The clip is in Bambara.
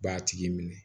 B'a tigi minɛ